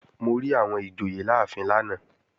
Mo rí àwọn ìjòyè láàfin lánàá